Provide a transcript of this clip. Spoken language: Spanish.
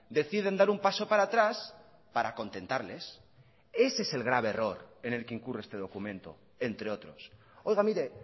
deciden dar un paso para atrás para contentarles ese es el grave error en el que incurre este documento entre otros oiga mire